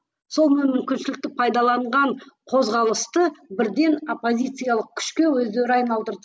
сол мүмкіншілікті пайдаланған қозғалысты бірден оппозициялық күшке өздері айналдырды